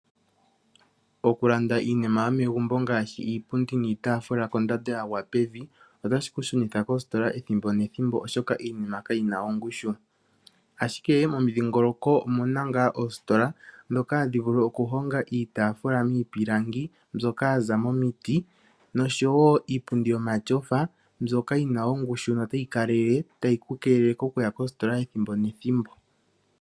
Okulanda iinima yomegumbo ngaashi iipundi niitaafula kondando yagwa pevi otashi ku shunitha koositola ethimbo nethimbo oshoka iinima kayina ongushu, ashike momudhingoloko omuna ngaa oositola dhoka hadhi vulu okuhonga iitaafula miipilangi mbyoka yaza momiti nosho woo iipundi yomatyofa mbyoka yina ongushu notayi kalelele tayi ku keelele okuya kositola ethimbo nethimbo.